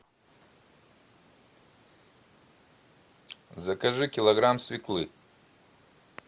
закажи килограмм свеклы